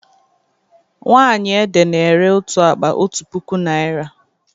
Nwaanyị ede na-ere otu akpa otu puku naịra.